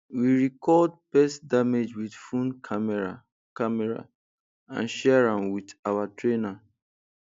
we record pest damage with phone camera camera and share am with our trainer